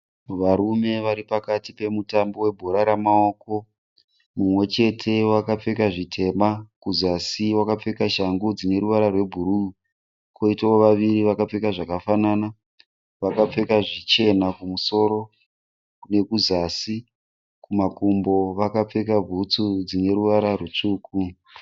Varume varipakati pemutambo webhora ramawoko. Mumwechete wakapfeka zvitema kuzasi, wakapfeka shangu dzineruvara rwebhuruu. Koitawo vaviri vakapfeka zvakafanana, vakapfeka zvichena kumusoro nekuzasi. Kumakumbo vakapfeka bhutsu dzineruvara rwutsvuku.